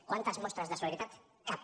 quantes mostres de solidaritat cap